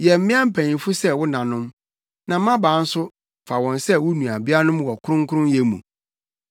yɛ mmea mpanyimfo sɛ wo nanom, na mmabaa nso, fa wɔn sɛ wo nuabeanom wɔ kronkronyɛ mu.